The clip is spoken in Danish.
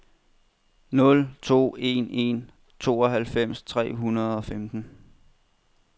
nul to en en tooghalvfems tre hundrede og femten